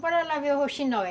Bora lá ver o rouxinol.